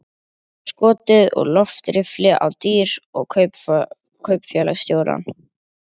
Og skotið úr loftriffli á dýr og kaupfélagsstjórann.